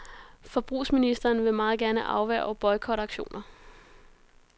Forbrugsministeren vil meget gerne afværge boykotaktioner.